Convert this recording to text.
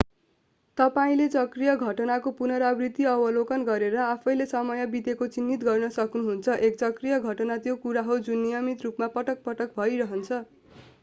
तपाईंले चक्रीय घटनाको पुनरावृत्ति अवलोकन गरेर आफैंँले समय बितेको चिन्हित गर्न सक्नुहुन्छ एक चक्रीय घटना त्यो कुरा हो जुन नियमित रूपमा पटक-पटक भइरहन्छ